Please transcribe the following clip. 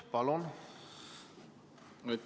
Palun!